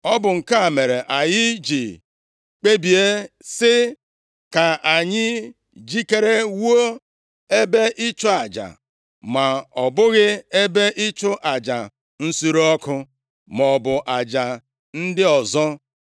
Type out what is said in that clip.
“Ọ bụ nke a mere anyị ji kpebie sị, ‘Ka anyị jikere wuo ebe ịchụ aja, ma ọ bụghị ebe ịchụ aja nsure ọkụ maọbụ aja ndị ọzọ,’